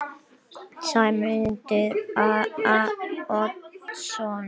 Sæmundur Oddsson